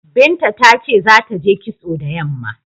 Binta ta ce za ta je kitso da yamma.